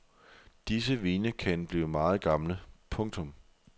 Disse vine kan blive meget gamle. punktum